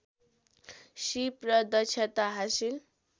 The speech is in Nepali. सीप र दक्षता हासिल